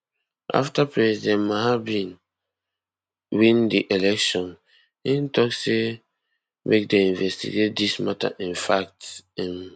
afta president mahama bin win di election im tok say make dem investigate dis mata in fact im